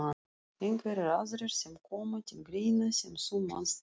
Einhverjir aðrir sem koma til greina sem þú manst eftir?